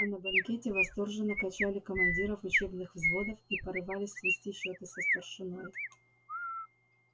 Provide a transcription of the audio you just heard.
а на банкете восторженно качали командиров учебных взводов и порывались свести счёты со старшиной